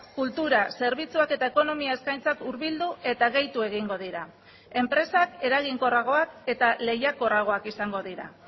kultura zerbitzuak eta ekonomia eskaintzak hurbildu eta gehitu egingo dira enpresak eraginkorragoak eta lehiakorragoak izango dira